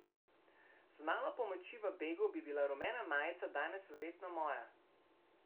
Z malo pomoči v begu bi bila rumena majica danes verjetno moja.